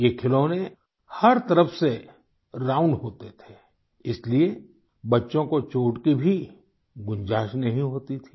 ये खिलौने हर तरफ से राउंड होते थे इसलिए बच्चों को चोट की भी गुंजाइश नहीं होती थी